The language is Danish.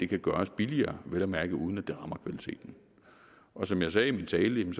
kan gøres billigere vel at mærke uden at det rammer kvaliteten som jeg sagde i min tale er